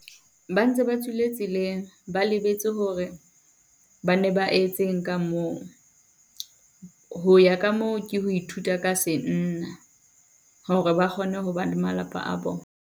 Ba ntse ba tswile tseleng ba lebetse hore ba ne ba etseng ka moo. Ho ya ka moo ke ho ithuta ka senna, hore ba kgone ho ba le malapa a bona.